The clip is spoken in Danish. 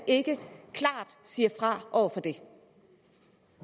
ikke se